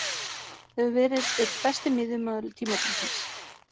Hefur verið einn besti miðjumaður tímabilsins.